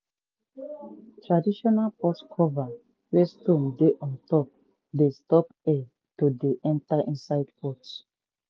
traditional pot cover wey stone dey untop dey stop air to dey enter inside pot.